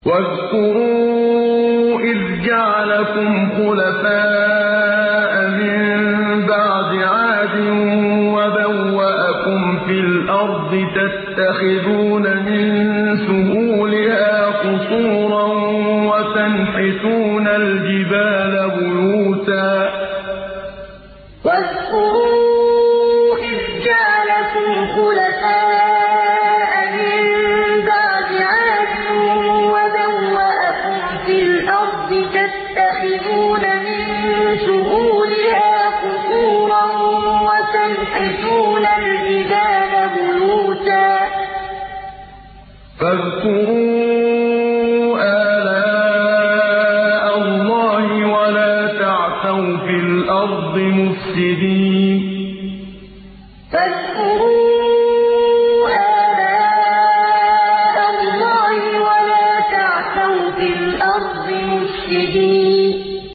وَاذْكُرُوا إِذْ جَعَلَكُمْ خُلَفَاءَ مِن بَعْدِ عَادٍ وَبَوَّأَكُمْ فِي الْأَرْضِ تَتَّخِذُونَ مِن سُهُولِهَا قُصُورًا وَتَنْحِتُونَ الْجِبَالَ بُيُوتًا ۖ فَاذْكُرُوا آلَاءَ اللَّهِ وَلَا تَعْثَوْا فِي الْأَرْضِ مُفْسِدِينَ وَاذْكُرُوا إِذْ جَعَلَكُمْ خُلَفَاءَ مِن بَعْدِ عَادٍ وَبَوَّأَكُمْ فِي الْأَرْضِ تَتَّخِذُونَ مِن سُهُولِهَا قُصُورًا وَتَنْحِتُونَ الْجِبَالَ بُيُوتًا ۖ فَاذْكُرُوا آلَاءَ اللَّهِ وَلَا تَعْثَوْا فِي الْأَرْضِ مُفْسِدِينَ